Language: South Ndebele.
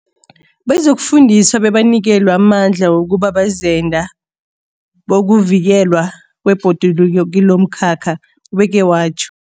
Bazokufundiswa bebanikelwe amandla wokuba bazenda bokuvikelwa kwebhoduluko kilomkhakha, ubeke watjho.